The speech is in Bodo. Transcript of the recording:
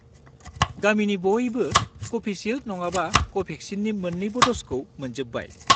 गामिनि बयबो कभिसिल्द नङाबा कभेक्सिननि मोन्नैबो द'जखौ मोनजोब्बाय।